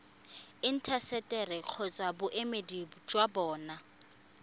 intaseteri kgotsa boemedi jwa bona